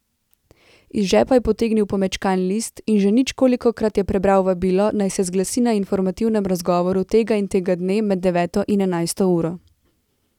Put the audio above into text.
Iz žepa je potegnil pomečkan list in že ničkolikokrat prebral vabilo, naj se zglasi na informativnem razgovoru tega in tega dne med deveto in enajsto uro.